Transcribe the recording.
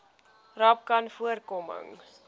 rapcanvoorkoming